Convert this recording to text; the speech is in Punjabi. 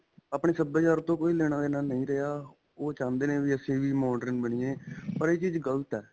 ਆਪਣੇ ਸਭਿਆਚਾਰ ਤੋਂ ਕੋਈ ਲੇਣਾ-ਦੇਣਾ ਨਹੀਂ ਰਿਹਾ. ਓਹ ਚਾਹੁੰਦੇ ਨੇ ਵੀ ਅਸੀਂ ਵੀ modern ਬਣੀਏ, ਪਰ ਇਹ ਚੀਜ਼ ਗਲਤ ਹੈ.